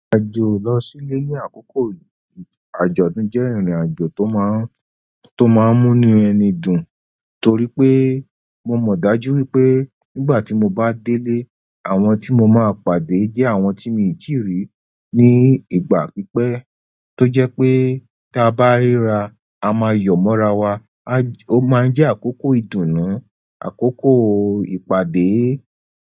Àjò lọ sílé ní àkókò àjọ̀dún jẹ́ ìrìn àjò tó máa ń, tó máa ń múnui ẹni dùn torí pé mo mọ̀ dájú wípé nígbà tí mo bá délé àwọn tí mo máa pàdé jẹ́ àwọn tí mi i tíì rí ní ìgbà pípẹ́ tó jẹ́ pé ta bá ríra, a máa yọ̀ mọ́ra wa. Ó máa ń jẹ́ àkókò ìdùnnú, àkókò ìpàdé.